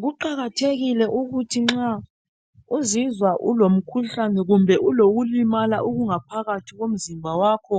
Kuqakathekile ukuthi nxa uzizwa ulomkhuhlane kumbe ukulimala okungaphakathi komzimba wakho